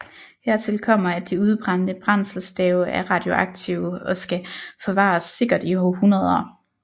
Hertil kommer at de udbrændte brændselsstave er radioaktive og skal forvares sikkert i århundreder